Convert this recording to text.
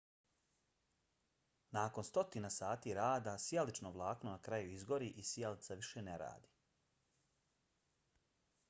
nakon stotina sati rada sijalično vlakno na kraju izgori i sijalica više ne radi